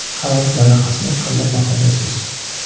Qaror loyihasini qanday baholaysiz?